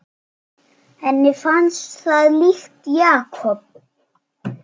Henni fannst það líkt Jakob.